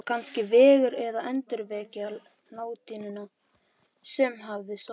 Var kannski vegur að endurvekja latínuna sem hafði sofið